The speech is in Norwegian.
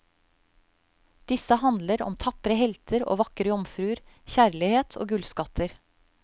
Disse handler om tapre helter og vakre jomfruer, kjærlighet, og gullskatter.